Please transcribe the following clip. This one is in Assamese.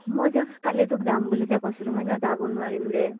মই যে কালি তোক যাম বুলি যে কৈছিলো, মই সিদিনা যাব নোৱাৰিম ৰে।